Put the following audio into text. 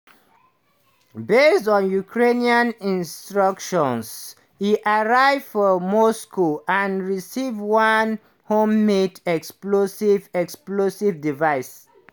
based on ukraine instructions e arrive for moscow and receive one homemade explosive explosive device.